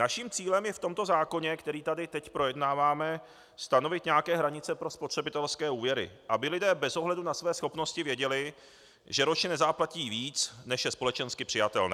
Naším cílem je v tomto zákoně, který tady teď projednáváme, stanovit nějaké hranice pro spotřebitelské úvěry, aby lidé bez ohledu na své schopnosti věděli, že ročně nezaplatí víc, než je společensky přijatelné.